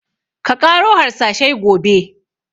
Ka ƙaro harsashai gobe!